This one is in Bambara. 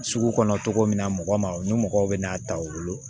Sugu kɔnɔ cogo min na mɔgɔ ma o ni mɔgɔw bɛ n'a ta u bolo